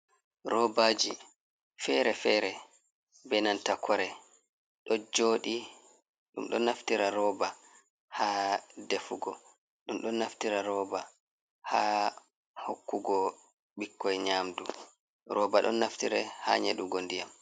Robaaji fere-fere, be nanta kore ɗo jooɗi. Ɗum ɗo naftira roba ha defugo, ɗum ɗo naftira roba ha hokkugo bikkoi nyamdu. Roba ɗon naftire ha nyeɗugo ndiyam.